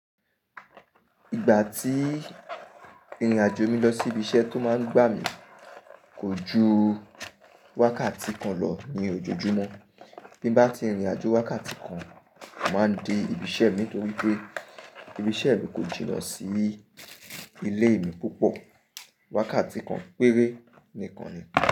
Ìgbà tí ìrìnàjò mi lọ sí ibi iṣẹ́ tó máa ń gbà mí kò ju wákàtí kan lọ ní ojoojúmọ́. Bí n bá ti rìn ìrìnàjò wákàtí kan, màá dé ibi iṣẹ́ mi nítorí pé ibi iṣẹ́ mi kò jìnnà sí ilé mi púpọ̀. Wákàtí kan péré nìkan ni.